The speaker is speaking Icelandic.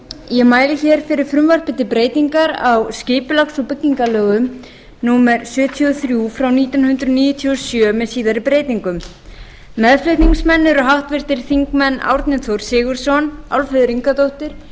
ég mæli hér fyrir frumvarpi um breytingu á skipulags og byggingarlögum númer sjötíu og þrjú frá nítján hundruð níutíu og sjö með síðari breytingum meðflutningsmenn eru háttvirtir þingmenn árni þór sigurðsson álfheiður ingadóttir